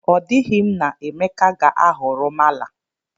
O dighi m na Emeka ga-ahọrọ mala